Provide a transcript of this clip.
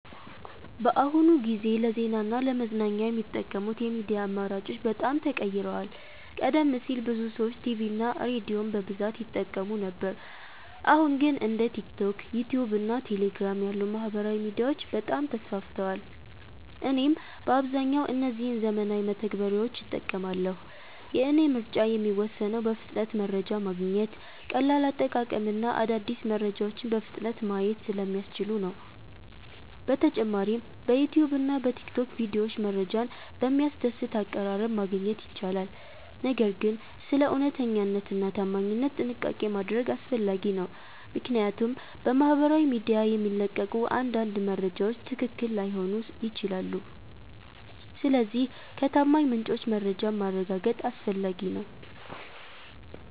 በአሁኑ ጊዜ ለዜና እና ለመዝናኛ የሚጠቀሙት የሚዲያ አማራጮች በጣም ተቀይረዋል። ቀደም ሲል ብዙ ሰዎች ቲቪ እና ሬዲዮን በብዛት ይጠቀሙ ነበር አሁን ግን እንደ ቲክቶክ፣ ዩትዩብ እና ቴሌግራም ያሉ ማህበራዊ ሚዲያዎች በጣም ተስፋፍተዋል። እኔም በአብዛኛው እነዚህን ዘመናዊ መተግበሪያዎች እጠቀማለሁ። የእኔ ምርጫ የሚወሰነው በፍጥነት መረጃ ማግኘት፣ ቀላል አጠቃቀም እና አዳዲስ መረጃዎችን በፍጥነት ማየት ስለሚያስችሉ ነው። በተጨማሪም በዩትዩብ እና በቲክቶክ ቪዲዮዎች መረጃን በሚያስደስት አቀራረብ ማግኘት ይቻላል። ነገር ግን ስለ እውነተኛነት እና ታማኝነት ጥንቃቄ ማድረግ አስፈላጊ ነው፣ ምክንያቱም በማህበራዊ ሚዲያ የሚለቀቁ አንዳንድ መረጃዎች ትክክል ላይሆኑ ይችላሉ። ስለዚህ ከታማኝ ምንጮች መረጃን ማረጋገጥ አስፈላጊ ነው።